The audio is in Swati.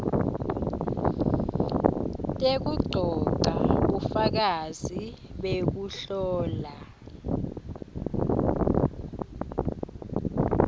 tekugcogca bufakazi bekuhlola